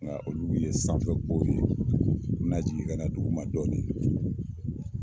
Olu ye sanfɛ ko ye na jigin ka na dugu ma dɔ